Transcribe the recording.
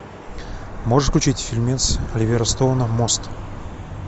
можешь включить фильмец оливера стоуна мост